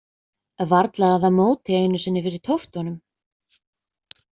Varla að það móti einu sinni fyrir tóttunum.